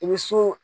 I bɛ so